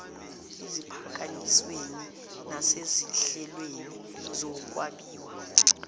eziphakanyisweni nasezinhlelweni zokwabiwa